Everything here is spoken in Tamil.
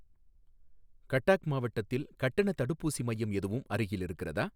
கட்டாக் மாவட்டத்தில் கட்டணத் தடுப்பூசி மையம் எதுவும் அருகில் இருக்கிறதா?